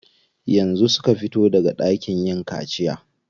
Yanzu suka fito daga ɗakin yin kaciya.